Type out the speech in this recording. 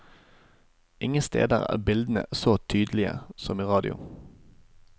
Ingen steder er bildene så tydelige som i radio.